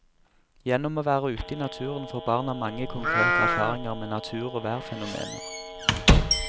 Gjennom å være ute i naturen får barna mange konkrete erfaringer med natur og værfenomener.